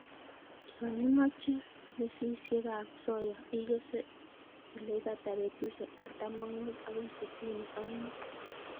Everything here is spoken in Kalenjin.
Yon imoche mesisiekab soya ikese ileibata betusiek artam ak mut akoi sitini ak mut.